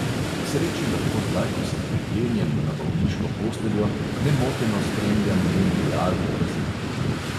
K sreči lahko zdaj, ko sem priklenjen na bolniško posteljo, nemoteno spremljam mundial v braziliji.